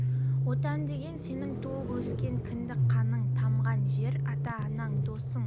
отан деген сенің туып өскен кіндік қанын тамған жер ата анаң досың